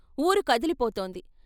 ఊరు కదిలిపోతోంది.